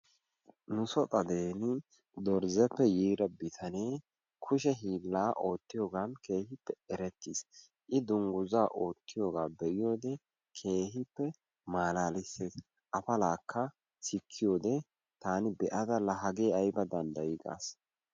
nu so xadeni dorzzeepe yiida bitanee kushe hiillaa oottiyoogan keehippe erettiis. i dunguzzaa oottiyaagaa be'iyoode keehippe malaalisses. afalaakka sikkiyoode taani be'ada la hagee ayba danddayii gaas.